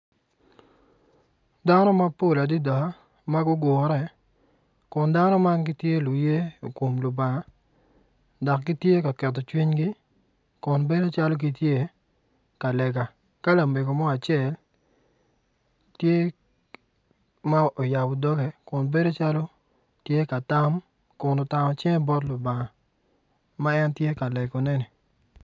Dano mapol adada ma gugure kun dano mann gitye luye i kom Lubanga dok gitye ka keto cwinygi kun bedo calo gitye ka lega ka lamego mo acel tye ma oyabo doge kun bedo calo tye ka tam kun otango cinge bot Lubanga ma en tye ka legoneni.